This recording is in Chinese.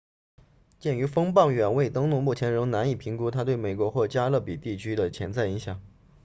鉴于风暴远未登陆目前仍难以评估它对美国或加勒比地区的潜在影响